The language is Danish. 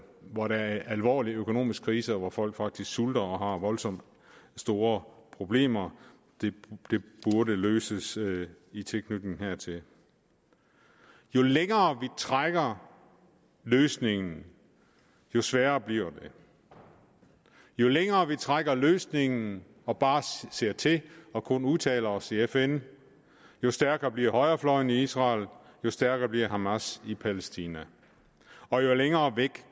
hvor der er alvorlig økonomisk krise og hvor folk faktisk sulter og har voldsomt store problemer det burde løses i tilknytning hertil jo længere vi trækker løsningen jo sværere bliver det jo længere vi trækker løsningen og bare ser til og kun udtaler os i fn jo stærkere bliver højrefløjen i israel jo stærkere bliver hamas i palæstina og jo længere væk